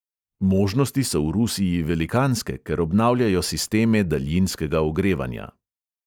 Možnosti so v rusiji velikanske, ker obnavljajo sisteme daljinskega ogrevanja.